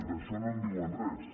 d’això no en diuen res